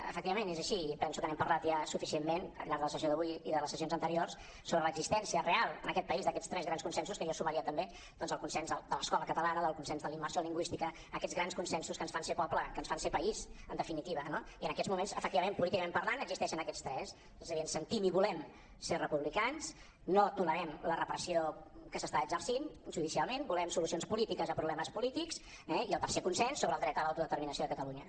efectivament és així i penso que n’hem parlat ja suficientment al llarg de la sessió d’avui i de les sessions anteriors sobre l’existència real en aquest país d’aquests tres grans consensos que jo hi sumaria també doncs el consens de l’escola catalana el consens de la immersió lingüística aquests grans consensos que ens fan ser poble que ens fan ser país en definitiva no i en aquests moments efectivament políticament parlant existeixen aquests tres és a dir ens sentim i volem ser republicans no tolerem la repressió que s’està exercint judicialment volem solucions polítiques a problemes polítics eh i el tercer consens sobre el dret a l’autodeterminació de catalunya